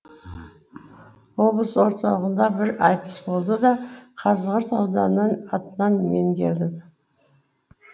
облыс орталығында бір айтыс болды да қазығұрт ауданының атынан мен келдім